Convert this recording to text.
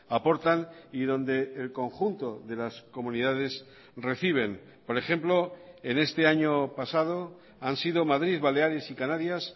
aportan y donde el conjunto de las comunidades reciben por ejemplo en este año pasado han sido madrid baleares y canarias